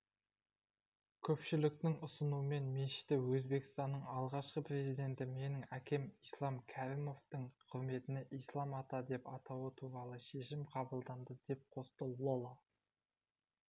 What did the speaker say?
көпшіліктің ұсынуымен мешітті өзбекстанның алғашқы президенті менің әкем ислам кәрімовтің құрметіне ислам ата деп атау туралы шешім қабылданды деп қосты лола